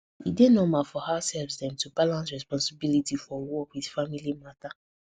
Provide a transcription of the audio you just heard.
e dey normal for househelps dem to balance responsibilities for work with family matter